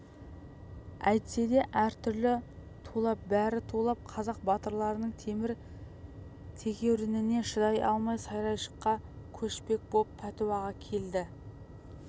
әйтсе де әрі тулап бері тулап қазақ батырларының темір тегеурініне шыдай алмай сарайшыққа көшпек боп пәтуаға келді